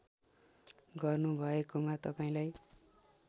गर्नुभएकोमा तपाईँलाई